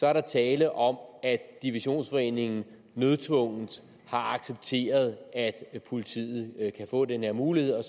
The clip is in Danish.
er der tale om at divisionsforeningen nødtvungent har accepteret at politiet kan få den her mulighed og